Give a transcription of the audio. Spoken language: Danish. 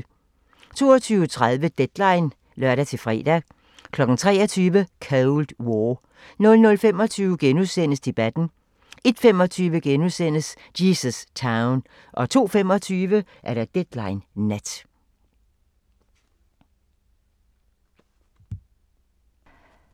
22:30: Deadline (lør-fre) 23:00: Cold War 00:25: Debatten * 01:25: Jesus Town * 02:25: Deadline Nat